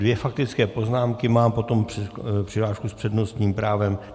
Dvě faktické poznámky mám, potom přihlášku s přednostním právem.